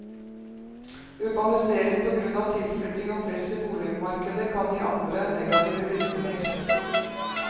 Urbanisering på grunn av tilflytting og press i boligmarkedet kan gi andre negative virkninger.